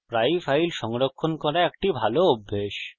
প্রায়ই files সংরক্ষণ করা একটি ভাল অভ্যাস